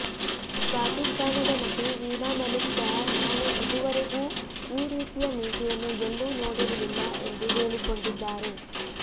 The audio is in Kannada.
ಪಾಕಿಸ್ತಾನದ ನಟಿ ವೀಣಾ ಮಲಿಕ್ ಸಹ ನಾನು ಇದುವರೆಗೂ ಈ ರೀತಿಯ ಮೀಸೆಯನ್ನು ಎಲ್ಲೂ ನೋಡಿರಲಿಲ್ಲ ಎಂದು ಹೇಳಿಕೊಂಡಿದ್ದಾರೆ